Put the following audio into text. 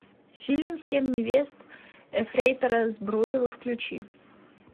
фильм семь невест ефрейтора збруева включи